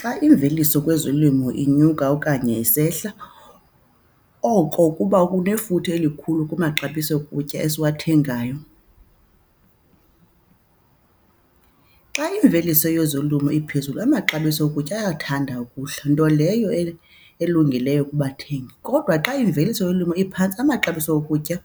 Xa imveliso kwezolimo inyuka okanye isehla oko kuba kunefuthe elikhulu kumaxabiso okutya esiwathengayo. Xa imveliso yezolimo iphezulu amaxabiso okutya ayathanda ukuhla nto leyo elungileyo kubathengi kodwa xa imveliso yolwimi iphantsi amaxabiso okutya